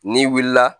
N'i wulila